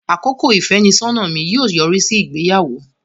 Àkókò ìfẹ́nisọ́nà mi yóò yọrí sí ìgbéyàwó.